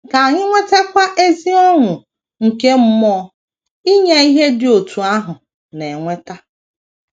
Ka anyị nwetakwa ezi ọṅụ nke mmụọ inye ihe dị otú ahụ na - eweta.